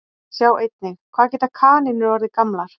Sjá einnig Hvað geta kanínur orðið gamlar?